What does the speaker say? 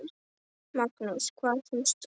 Magnús: Hvað finnst þér?